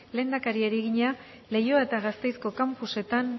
lehendakariari egina leioa eta gasteizko campusetan